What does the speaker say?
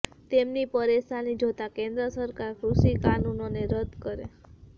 તેમની પરેશાની જોતા કેન્દ્ર સરકાર કૃષિ કાનૂનોને રદ કરે